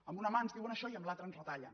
amb una mà ens diuen això i amb l’altra ens retallen